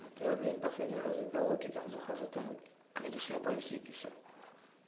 а то я блин в последний раз к галоке захожу там какая-то шляпа висит и все